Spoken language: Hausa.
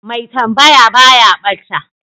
mai tambaya baya bata